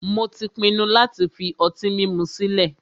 Mó tí pinnu láti fi ọtí mímu sile